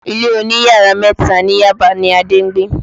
Ilé oní yàrá mẹ́ta ni Yaba ni Adé ń gbé